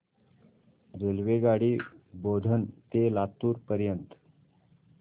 रेल्वेगाडी बोधन ते लातूर पर्यंत